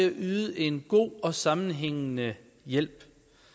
at yde en god og sammenhængende hjælp